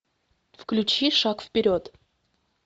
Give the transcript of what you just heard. включи шаг вперед